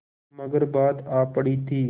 मगर बात आ पड़ी थी